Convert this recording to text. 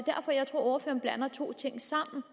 ordføreren blander to ting sammen